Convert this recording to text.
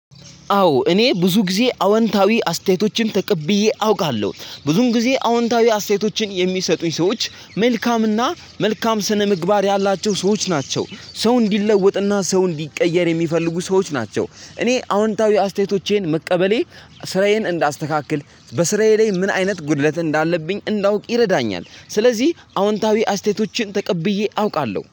አዎ እኔ ብዙ ጊዜ አዎንታዊ አስተያየቶችን ተቀብዬ አውቃለሁ ብዙም ጊዜ አዎንታዊ አስተያየቶችን የሚሰጡኝ ሰዎች መልካምና መልካም ስነምግባር ያላቸው ሰዎች ናቸው። ሰው እንዲለወጥና ሰው እንዲቀየር የሚፈልጉ ሰዎች ናቸው። እኔ አዎንታዊ አስተያየቶቼን መቀበሌ ስራዬን እንዳስተካክል፣ በስራዬ ላይ ምን አይነት ጉድለት እንዳለብኝ እንዳውቅ ይረዳኛል። ስለዚህ አዎንታዊ አስተያየቶችን ተቀብዬ አውቃለሁ